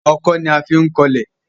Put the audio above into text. Ọkọ́ ní a fín kọ ilè.